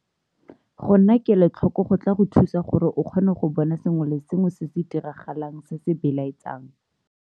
Go nna kelotlhoko go tla go thusa gore o kgone go bona sengwe le sengwe se se diragalang se se belaetsang.